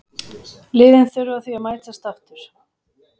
Liðin þurfa því að mætast aftur.